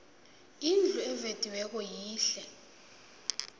indlu evediweko yihle